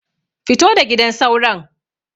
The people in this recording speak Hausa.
Fito da gidan sauron.